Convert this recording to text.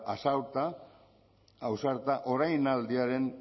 ausarta orainaldiaren